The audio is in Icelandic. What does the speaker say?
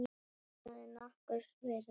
Það er nokkurs virði.